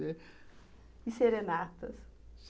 E serenatas?